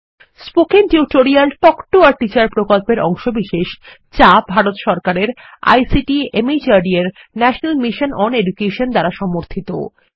spoken tutorial talk to a teacher প্রকল্পের অংশবিশেষ যা ভারত সরকারের আইসিটি মাহর্দ এর ন্যাশনাল মিশন ওন এডুকেশন দ্বারা সমর্থিত